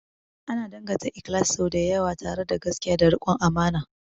Ana danganta ikhlasi sau da yawa tare da gaskiya da rikon amana.